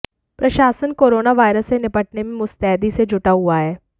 प्रशासन corona virus से निपटने में मुस्तैदी से जुटा हुआ है